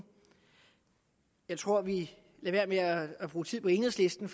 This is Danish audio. jeg tror vi lader være at bruge tid på enhedslisten